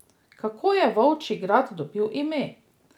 Kako je Volčji grad dobil ime?